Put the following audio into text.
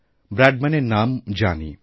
ব্র্যাডম্যানের নাম জানি